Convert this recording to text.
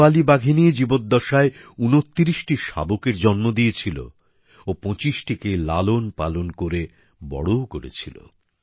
কলারওয়ালি বাঘিনী জীবদ্দশায় ২৯টি শাবকের জন্ম দিয়েছিল ও ২৫টিকে লালন পালন করে বড়ও করেছিল